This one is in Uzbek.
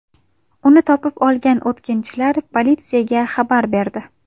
Uni topib olgan o‘tkinchilar politsiyaga xabar berdi.